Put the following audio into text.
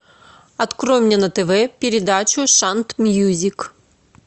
открой мне на тв передачу шант мьюзик